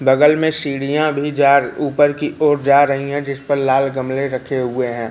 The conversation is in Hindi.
बगल में सीढ़ियां भीं जा र ऊपर की ओर जा रहीं हैं जिस पर लाल गमले रखे हुए हैं।